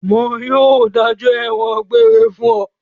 Wọn yóò dájọ́ ẹ̀wọ̀n egbére fún ọ.